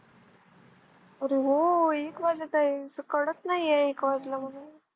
अरे हो एक वाजत आहे कळत नाही एक वाजले म्हणून.